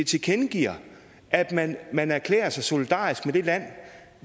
tilkendegiver at man man erklærer sig solidarisk med det land